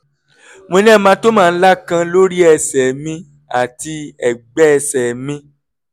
mo ní hematoma ńlá kan lórí ẹsẹ̀ mi àti ẹ̀gbẹ́ ẹsẹ̀ mi